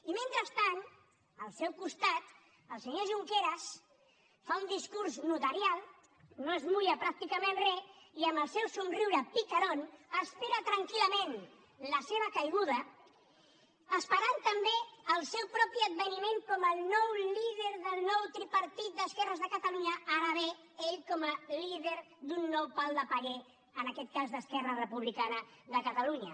i mentrestant al seu costat el senyor junqueras fa un discurs notarial no es mulla pràcticament res i amb el seu somriure picarónesperant també el seu propi adveniment com el nou líder del nou tripartit d’esquerres de catalunya ara bé ell com a líder d’un nou pal de paller en aquest cas d’esquerra republicana de catalunya